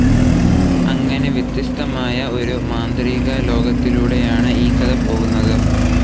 അങ്ങനെ വ്യത്യസ്തമായ ഒരു മാന്ത്രികലോകത്തിലൂടെയാണ് ഈ കഥ പോകുന്നത്.